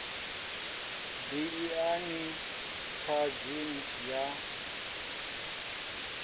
bi i na tshadzhi ya